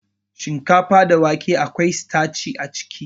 Shinkafa da doya akwai sitaci a ciki